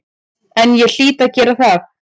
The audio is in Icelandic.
En ég hlýt að gera það.